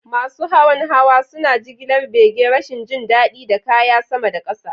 Masu hawan hawa hawa, suna jigilar bege, rashin jin daɗi, da kaya sama da ƙasa.'